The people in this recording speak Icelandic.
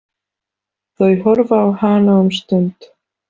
Þau horfa á hana um stund.